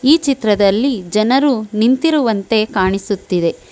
ಈ ಚಿತ್ರದಲ್ಲಿ ಜನರು ನಿಂತಿರುವಂತೆ ಕಾಣಿಸುತ್ತಿದೆ.